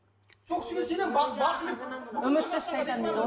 сол кісіге сенемін бақсы мен